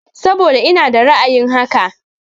Saboda ina da ra'ayin haka.